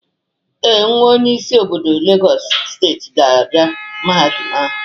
Ee, nwa onye isi obodo Legọs steeti na-aga Mahadum ahụ.